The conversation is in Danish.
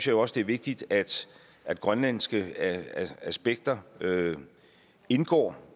jo også det er vigtigt at at grønlandske aspekter indgår